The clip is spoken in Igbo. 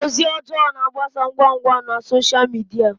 Ozi ọjọọ na-agbasa ngwa ngwa na sọsha midia.